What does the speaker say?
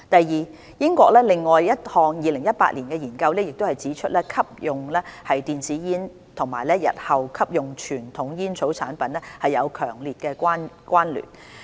二英國另一項2018年的研究已指出吸用電子煙與日後吸用傳統煙草產品有強烈關聯。